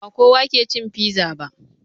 Ba kowa ke cin fiza ba.